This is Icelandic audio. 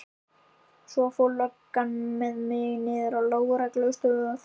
Svo fór löggan með mig niður á lögreglustöð.